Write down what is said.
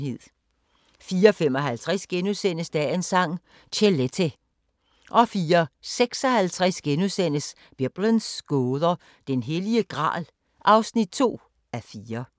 04:55: Dagens Sang: Chelete * 04:56: Biblens gåder – Den Hellige Gral (2:4)*